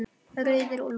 Rauðir úlfar